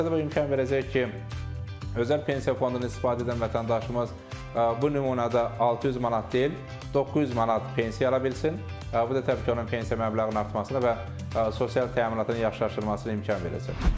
Təbii bu imkan verəcək ki, özəl pensiya fondunu istifadə edən vətəndaşımız bu nümunədə 600 manat deyil, 900 manat pensiya ala bilsin və bu da həmçinin onun pensiya məbləğinin artmasına və sosial təminatın yaxşılaşdırılmasına imkan verəcək.